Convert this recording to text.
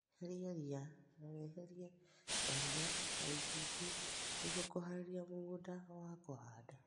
Heria ria na wehelie mahiga na icunjĩ nĩguo kũharĩria mũgũnda kũhanda